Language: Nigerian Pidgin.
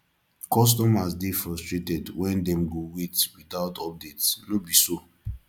customers dey frustrated wen dem go wait without updates no be so